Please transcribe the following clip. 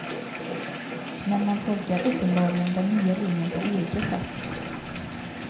Men man tolkar uppenbarligen den nya linjen på olika sätt.